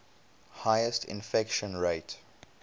highest infection rate